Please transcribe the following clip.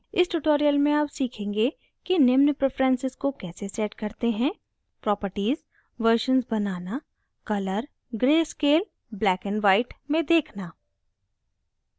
इस tutorial में आप सीखेंगे कि निम्न preferences को कैसे set करते हैं: